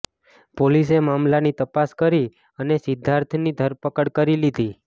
પોલીસે મામલાની તપાસ કરી અને સિદ્ધાર્થની ધરપકડ કરી લીધી